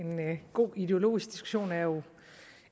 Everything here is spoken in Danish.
en god ideologisk diskussion er jo